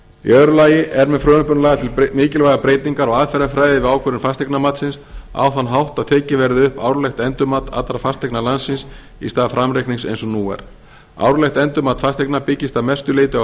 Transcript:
öðru lagi eru með frumvarpinu lagðar til mikilvægar breytingar á aðferðarfræði við ákvörðun fasteignamatsins á þann hátt að tekið verði upp árlegt endurmat allra fasteigna landsins í stað framreiknings eins og nú er árlegt endurmat fasteigna byggist að mestu leyti á